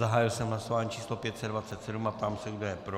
Zahájil jsem hlasování číslo 527 a ptám se, kdo je pro.